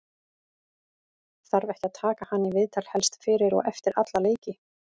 þarf ekki að taka hann í viðtal helst fyrir og eftir alla leiki?